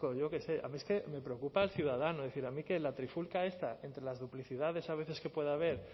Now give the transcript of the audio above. yo qué sé es que a mí me preocupa el ciudadano es decir a mí que la trifulca esta entre las duplicidades a veces que pueda haber